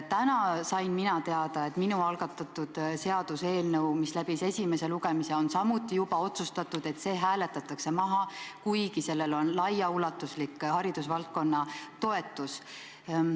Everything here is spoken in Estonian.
Täna sain ma teada, et minu algatatud seaduseelnõu, mis on läbinud esimese lugemise, on samuti juba otsustatud maha hääletada, kuigi sellel on laiaulatuslik haridusvaldkonna toetus.